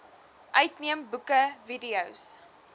uitneem boeke videos